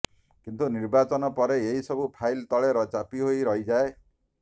କିନ୍ତୁ ନିର୍ବାଚନ ପରେ ଏହି ସବୁ ଫାଇଲ ତଳେ ଚାପି ହୋଇ ରହିଯାଏ